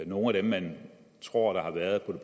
nogle af dem man tror har været på